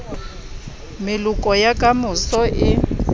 meloko ya ka moso e